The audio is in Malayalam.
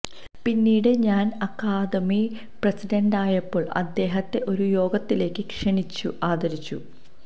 പിന്നീട് ഞാൻ അക്കാദമി പ്രസിഡന്റായപ്പോൾ അദ്ദേഹത്തെ ഒരു യോഗത്തിലേക്കു ക്ഷണിച്ച് ആദരിച്ചു